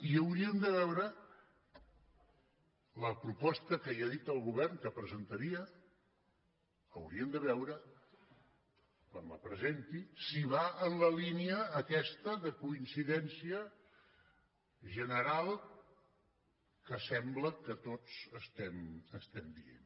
i hauríem de veure la proposta que ja ha dit el govern que presentaria hauríem de veure quan la presenti si va en la línia aquesta de coincidència general que sembla que tots estem dient